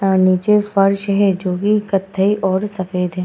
अ नीचे फर्श है जोकि कथई और सफ़ेद है।